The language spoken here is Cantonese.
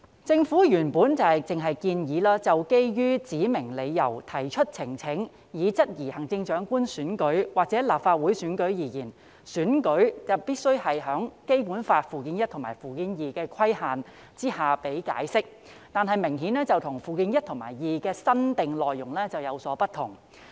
政府原本只建議，就基於指明理由提出呈請以質疑行政長官選舉或立法會選舉而言，選舉必須在《基本法》附件一和附件二的規限下予以解釋，但這明顯與附件一和附件二的新訂內容有所不同。